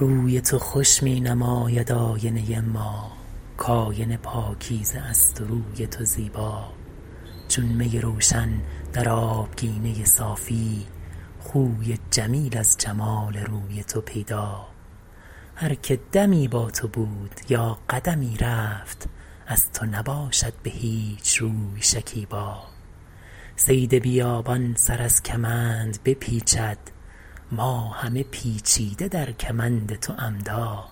روی تو خوش می نماید آینه ما کآینه پاکیزه است و روی تو زیبا چون می روشن در آبگینه صافی خوی جمیل از جمال روی تو پیدا هر که دمی با تو بود یا قدمی رفت از تو نباشد به هیچ روی شکیبا صید بیابان سر از کمند بپیچد ما همه پیچیده در کمند تو عمدا